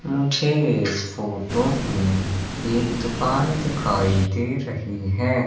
मुझे इस फोटो में एक दुकान दिखाई दे रही हैं।